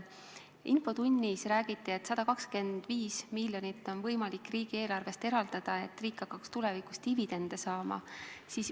Infotunnis räägiti, et 125 miljonit on võimalik riigieelarvest eraldada, et riik hakkaks tulevikus dividende saama.